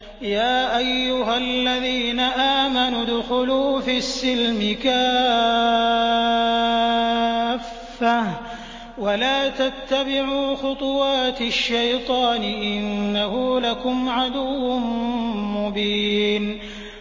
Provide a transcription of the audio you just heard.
يَا أَيُّهَا الَّذِينَ آمَنُوا ادْخُلُوا فِي السِّلْمِ كَافَّةً وَلَا تَتَّبِعُوا خُطُوَاتِ الشَّيْطَانِ ۚ إِنَّهُ لَكُمْ عَدُوٌّ مُّبِينٌ